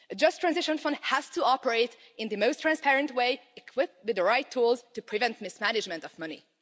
A just transition fund has to operate in the most transparent way, equipped with the right tools to prevent mismanagement of money.